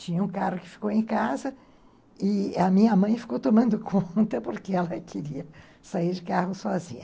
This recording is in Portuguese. Tinha um carro que ficou em casa e a minha mãe ficou tomando conta porque ela queria sair de carro sozinha.